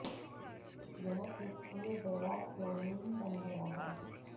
यह एक प्रिय वेरा स्लोनिम बन गया है